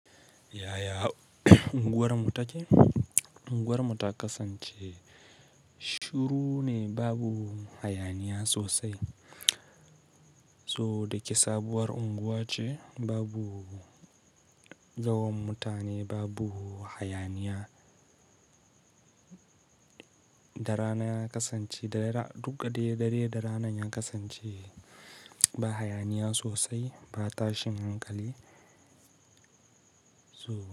Yaya unguwarmu take? Unguwarmu ta kasance shiru ne, babu hayaniya sosai. So da kisabuwar unguwa ce, babu gawan mutane, babu hayaniya. Da rana ya kasance duka dare da rana yan kasance ba hayaniya sosai, ba tashin hankali so.